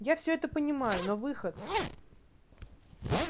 я все это понимаю но выход